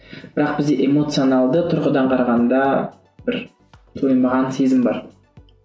бірақ бізде эмоцианалды тұрғыдан қарағанда бір тоймаған сезім бар